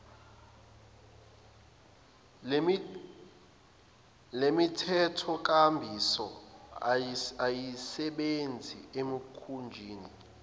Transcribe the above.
lemithethonkambiso ayisebenzi emikhunjini